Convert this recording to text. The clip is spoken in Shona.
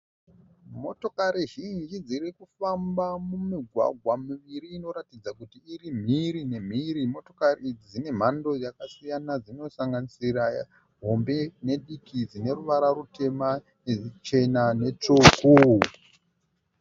Motokari zhinji dzirikufamba mumigwagwa miviri inoratidza kuti iri mhiri nemhiri , motokari idzi dzine mhando yakasiyana dzinosanganisira hombe nediki dzine ruvara rutema neruchena netsvuku.